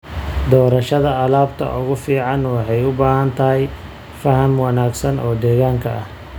Doorashada alaabta ugu fiican waxay u baahan tahay faham wanaagsan oo deegaanka ah.